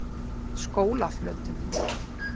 Skólaflötum